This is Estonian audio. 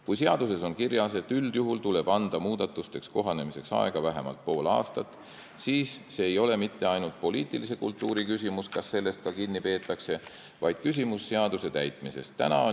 Kui seaduses on kirjas, et üldjuhul tuleb anda muudatustega kohanemiseks aega vähemalt pool aastat, siis see, kas sellest ka kinni peetakse, ei ole mitte ainult poliitilise kultuuri küsimus, vaid see on seaduse täitmise küsimus.